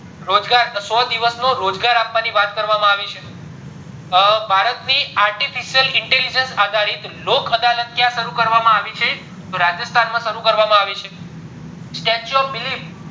રોજગાર સો દિવસ નો રોજગાર આપવાની વાત કરવામાં આવી છે અ ભારત ની artificial intelligence આધારિત લોક અદાલત ક્યાં શરુ કરવામાં આવી છે રાજસ્થાન માં શરુ કરવામ આવી છે statue of belief